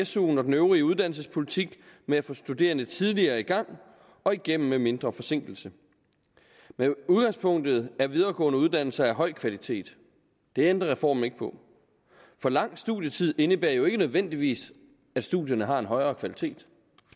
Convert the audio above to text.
suen og den øvrige uddannelsespolitik med at få studerende tidligere i gang og igennem med mindre forsinkelse men udgangspunktet er videregående uddannelser af høj kvalitet det ændrer reformen ikke på for lang studietid indebærer jo ikke nødvendigvis at studierne har en højere kvalitet